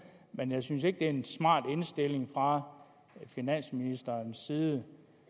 men jeg synes ikke det er en smart indstilling fra finansministerens side